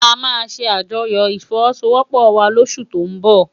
Amá sé ájòyò ifòwòsôwòpò wá lósú tó n bò